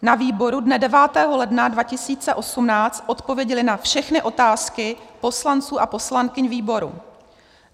Na výboru dne 9. ledna 2018 odpověděli na všechny otázky poslanců a poslankyň výboru.